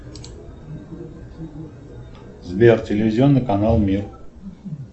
сбер телевизионный канал мир